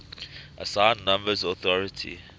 assigned numbers authority